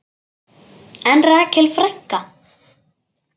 En Rakel frænka?